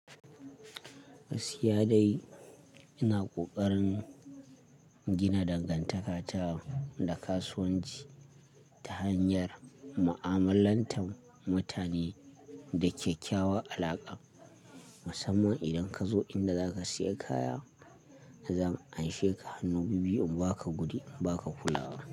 Gaskiya dai. Ina kokarin gina dangantaka ta da kasuwanci ta hanyar mu'amalantar mutane da kyakkyawan alaƙa. Musamman idan kazo inda za ka siya kaya, zan amshe ka hannu bibbiyu inba ka in ba ka kula ba.